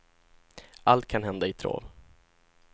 Allt kan hända i trav.